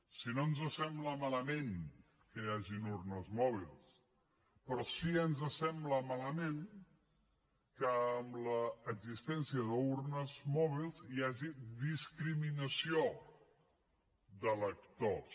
si no ens sembla malament que hi hagin urnes mòbils però sí que ens sembla malament que amb l’existència d’urnes mòbils hi hagi discriminació d’electors